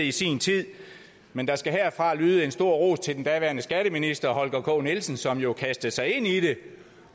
i sin tid men der skal herfra lyde en stor ros til den daværende skatteminister herre holger k nielsen som jo kastede sig ind i det